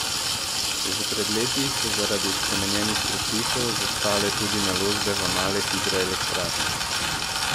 Že pred leti so zaradi spremenjenih predpisov zastale tudi naložbe v male hidroelektrarne.